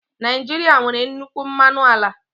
Naijiria nwere nnukwu mmanụ ala